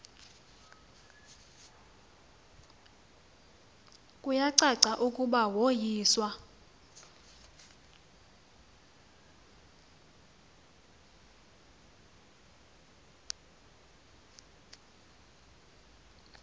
kuyacaca ukuba woyiswa